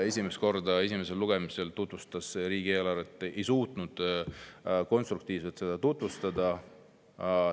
… siin esimesel lugemisel riigieelarvet tutvustas, ei suutnud ta seda teha konstruktiivselt.